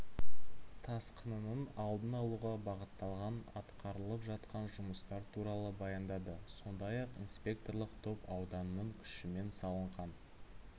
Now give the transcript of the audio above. тасқынының алдын алуға бағытталған атқарылып жатқан жұмыстар туралы баяндады сондай-ақ инспекторлық топ ауданның күшімен салынған